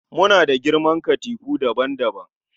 Muna da girman katifu daban-daban